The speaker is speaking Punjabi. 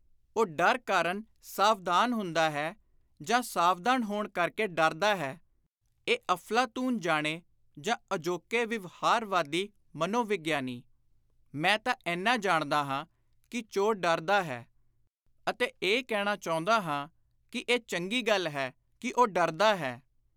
ਉਹ ਡਰ ਕਾਰਨ ਸਾਵਧਾਨ ਹੁੰਦਾ ਹੈ ਜਾਂ ਸਾਵਧਾਨ ਹੋਣ ਕਰਕੇ ਡਰਦਾ ਹੈ, ਇਹ ਅਫ਼ਲਾਤੁਨ ਜਾਣੇ ਜਾਂ ਅਜੋਕੇ ਵਿਵਹਾਰਵਾਦੀ ਮਨੋਵਿਗਿਆਨੀ (Behaviourist); ਮੈਂ ਤਾਂ ਏਨਾ ਜਾਣਦਾ ਹਾਂ ਕਿ ਚੋਰ ਡਰਦਾ ਹੈ ਅਤੇ ਇਹ ਕਹਿਣਾ ਚਾਹੁੰਦਾ ਹਾਂ ਕਿ “ਇਹ ਚੰਗੀ ਗੱਲ ਹੈ ਕਿ ਉਹ ਡਰਦਾ ਹੈ।